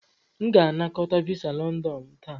M ga-anakọta visa London m taa.